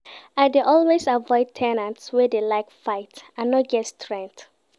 I dey always avoid ten ants wey dey like fight, I no get strength.